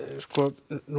nú